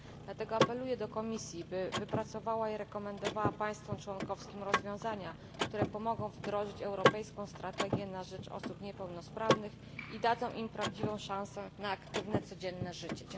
W związku z tym apeluję do Komisji, by wypracowała i rekomendowała państwom członkowskim rozwiązania, które pomogą w realizacji europejskiej strategii na rzecz osób niepełnosprawnych i dadzą im prawdziwą szansę na aktywne, codzienne życie.